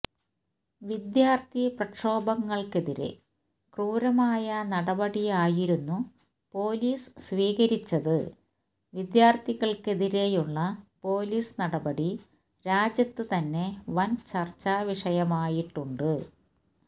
വിദ്യാർഥി പ്രക്ഷോഭങ്ങൾക്കെതിരെ ക്രൂരമായ നടപടിയായിരുന്നു പോലീസ് സ്വീകരിച്ചത് വിദ്യാർഥികൾക്കെതിരെയുളള പോലീസ് നടപടി രാജ്യത്ത് തന്നെ വൻ ചർച്ച വിഷയമായിട്ടുണ്ട്